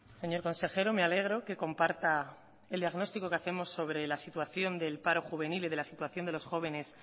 señor consejero me alegro que comparta el diagnóstico que hacemos sobre la situación del paro juvenil y de la situación de los jóvenes